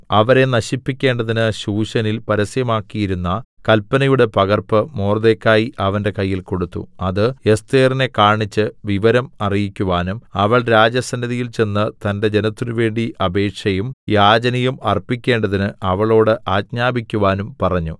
അവരെ നശിപ്പിക്കേണ്ടതിന് ശൂശനിൽ പരസ്യമാക്കിയിരുന്ന കല്പനയുടെ പകർപ്പ് മൊർദെഖായി അവന്റെ കയ്യിൽ കൊടുത്തു ഇത് എസ്ഥേറിനെ കാണിച്ച് വിവരം അറിയിക്കുവാനും അവൾ രാജസന്നിധിയിൽ ചെന്ന് തന്റെ ജനത്തിന് വേണ്ടി അപേക്ഷയും യാചനയും അർപ്പിക്കേണ്ടതിന് അവളോട് ആജ്ഞാപിക്കുവാനും പറഞ്ഞു